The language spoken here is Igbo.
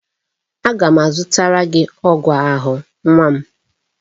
Aga m azụtara gị ọgwụ ahụ nwa m